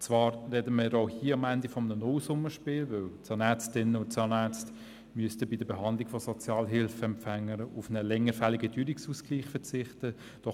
Zwar sprechen wir hier am Ende von einem Nullsummenspiel, weil die Zahnärztinnen und Zahnärzte bei der Behandlung von Sozialhilfeempfängern auf einen seit Längerem fälligen Teuerungsausgleich verzichten müssten.